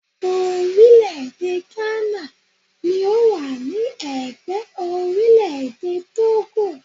Orílẹ̀-èdè Ghana ni ó wà ní ẹ̀gbẹ́ orílẹ̀-èdè Tógò